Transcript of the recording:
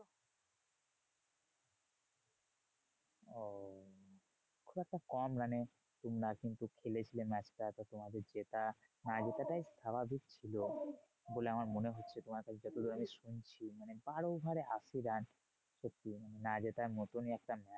খুব একটা কম run এ তোমরা কিন্তু খেলেছিলে match টা তো তোমাদের জেতা না জেতাটাই স্বাভাবিক ছিল বলে আমার মনে হচ্ছে। তোমার কাছে যতদূর আমি শুনছি, মানে বারো over এ আশি run না জেতার মতনই একটা